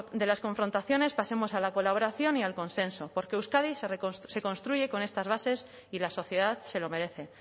de las confrontaciones pasemos a la colaboración y al consenso porque euskadi se construye con estas bases y la sociedad se lo merece